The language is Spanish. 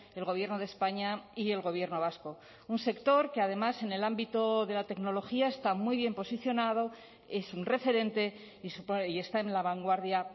el gobierno de españa y el gobierno vasco un sector que además en el ámbito de la tecnología está muy bien posicionado es un referente y está en la vanguardia